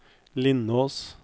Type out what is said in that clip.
Lindås